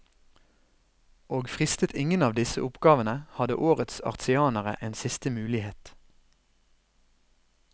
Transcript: Og fristet ingen av disse oppgavene, hadde årets artianere en siste mulighet.